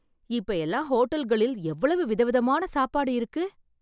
இப்ப எல்லாம் ஹோட்டல்களில் எவ்வளவு விதவிதமா சாப்பாடு இருக்கு